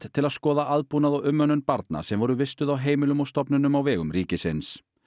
til að skoða aðbúnað og umönnun barna sem voru vistuð á heimilum og stofnunum á vegum ríkisins